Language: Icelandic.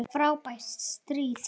Frábært stríð!